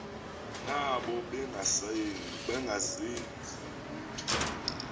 nabo bengazenzi lutho